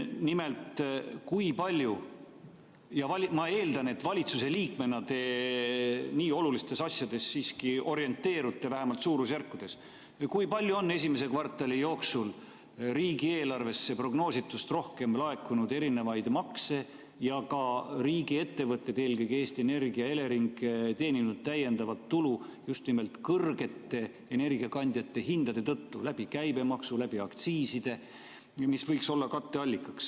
Nimelt, kui palju on – ma eeldan, et valitsusliikmena te nii olulistes asjades siiski orienteerute, vähemalt suurusjärkudes – esimese kvartali jooksul riigieelarvesse prognoositust rohkem laekunud erinevaid makse ning kui palju on riigiettevõtted, eelkõige Eesti Energia ja Elering, teeninud täiendavat tulu just nimelt energiakandjate kõrgete hindade tõttu, käibemaksu ja aktsiisidega, mis võiks olla katteallikaks?